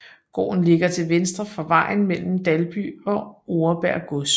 Gården ligger til venstre for vejen mellem Dalby og Oreberg Gods